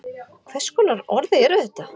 Hvers konar orð eru þetta?